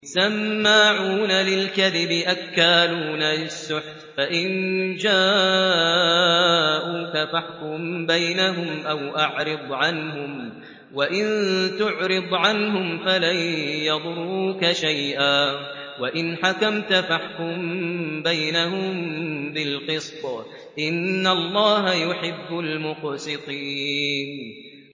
سَمَّاعُونَ لِلْكَذِبِ أَكَّالُونَ لِلسُّحْتِ ۚ فَإِن جَاءُوكَ فَاحْكُم بَيْنَهُمْ أَوْ أَعْرِضْ عَنْهُمْ ۖ وَإِن تُعْرِضْ عَنْهُمْ فَلَن يَضُرُّوكَ شَيْئًا ۖ وَإِنْ حَكَمْتَ فَاحْكُم بَيْنَهُم بِالْقِسْطِ ۚ إِنَّ اللَّهَ يُحِبُّ الْمُقْسِطِينَ